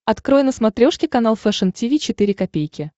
открой на смотрешке канал фэшн ти ви четыре ка